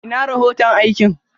Ina rohoto aikin?